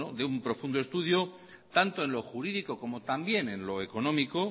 de un profundo estudio tanto en lo jurídico como también en lo económico